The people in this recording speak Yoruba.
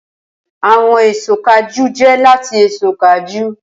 Awọn eso kajú jẹ lati eso kajú.